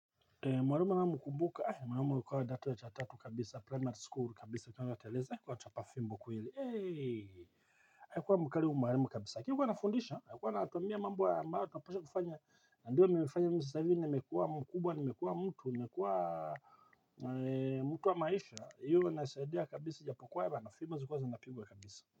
Mwarimu mkumbuka mwarimu ukua kidato cha tatu kabisa primary school kabisa kwa wateleza kwa chapa fimbo kweli ayikuwa mkari huu mwarimu kabisa kikuwa nafundisha alikuwa natuambia mambo ya maa wa tunaposha kufanya ndio mimefanya mimi sasa ivi nimekua mkubwa nimekua mtu nimekua mtu wa maisha iyo nasaidia kabisa japokuwa haba na fibo silikuwa zilikua zinapigwa kabisa.